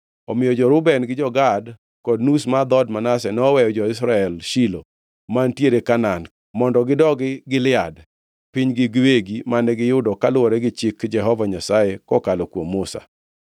Omiyo jo-Reuben, jo-Gad kod nus mar dhood Manase noweyo jo-Israel Shilo mantiere Kanaan, mondo gidogi Gilead, pinygi giwegi, mane giyudo kaluwore gi chik Jehova Nyasaye kokalo kuom Musa.